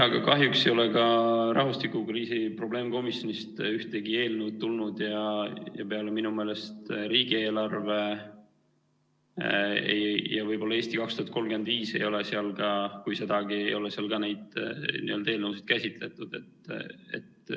Aga kahjuks ei ole ka rahvastikukriisi probleemkomisjonist ühtegi eelnõu tulnud ja minu meelest peale riigieelarve, võib-olla ka "Eesti 2035", kui sedagi, ei ole seal ka eelnõusid käsitletud.